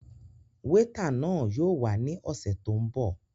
Wétà náà yóò wá ní ọsẹ tó n bọ